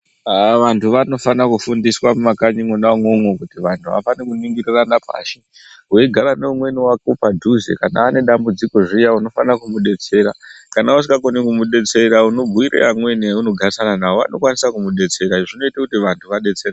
Haa vantu vanofana kufundiswa mumakanyi Mona imomo kuti vantu havafani kuningirirana pashi weigara neumweni wako padhuze kana ane dambudziko zviya unofana kumudetsera kana usingakoni kumudetsera unobhuira amweni aunogarisana nawo vanokwanisa kumudetsera izvi zvinoita kuti antu adetsereke.